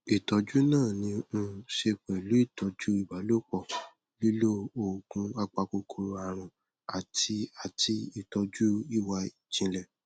ìtọjú náà ní í um ṣe pẹlú ìtọjú ìbálòpọ lílo oògùn apakòkòrò àrùn àti àti ìtọjú ìwà ìjìnlẹ